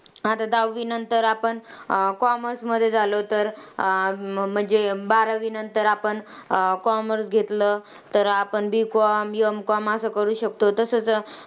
आता दहावीनंतर आपण commerce मध्ये झालो तर, अं म्हणजे बारावीनंतर आपण commerce घेतलं तर आपण B com, M com असं करू शकतो. तसंच